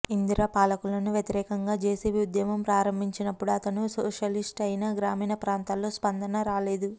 ఇందిర పాలనకు వ్యతిరేకంగా జెపి ఉద్యమం ప్రారంభించినప్పుడు అతను సోషలిస్టు అయినా గ్రామీణ ప్రాంతాల్లో స్పందన రాలేదు